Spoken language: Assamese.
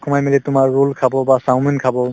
সোমাই মেলি তোমাৰ roll খাব বা চাওমিন খাব